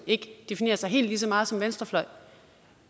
ikke definerer sig helt lige så meget som venstrefløj